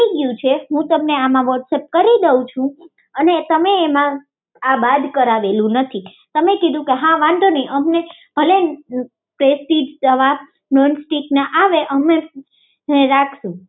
હું તમને આમાં વોટ્સઅપ કરી દઉં છુ અને તમે તેમાં આ બાદ કરાવેલું નથી તમે કીધું કે હા વાંધો નહિ અમને ભલે પ્રેસ્ટીજના નોન સ્ટીક તવા આવે તો અમે તેને રાખીશું